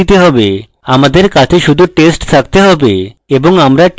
আপনার কাছে শুধু test থাকতে have এবং আমরা test পেয়েছি